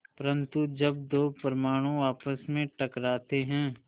परन्तु जब दो परमाणु आपस में टकराते हैं